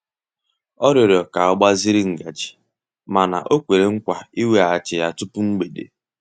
Ọ rịọrọ ka ọ gbaziri ngaji mana o kwere nkwa iweghachi ya tupu mgbede.